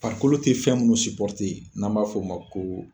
Farikolo te fɛn munnu n'an b'a f'o ma ko